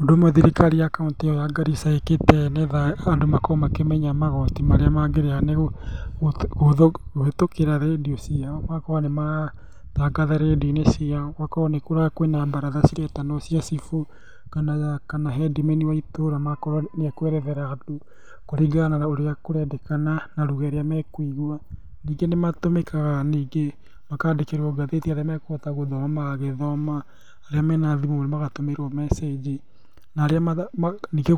Ũndũ ũmwe thirikari ya kauntĩ ĩyo ya Garissa ĩkĩte nĩgetha andũ makorwo makĩmenya magoti marĩa mangĩrĩha nĩ kũhĩtũkĩra rĩndiũ ciao, magakorwo nĩmaratangatha rĩndiũ-inĩ ciao gũgakorwo kwĩna mbaratha ciretanwo cia cibũ, kana hendimeni wa itũra agakorwo nĩ ekwerethera andũ kũringana na ũrĩa kũrendekana na ruga ĩrĩa mekũigua. Ningĩ nĩmatũmĩkaga ningĩ makandĩkĩrwo ngathĩti arĩa mekũhota gũthoma magagĩthoma. Arĩa mena thimũ magatũmĩrwo mecĩnji, na arĩa, ningĩ